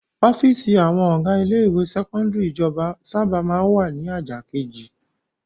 Ọ́fíísì àwọn ọ̀gá ilé-ìwé sẹ́kọ́ndárì ìjọba sábà máa ń wà ní ajá kejì.